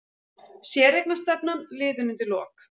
Séreignarstefnan liðin undir lok